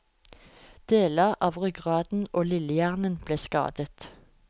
Deler av ryggraden og lillehjernen ble skadet.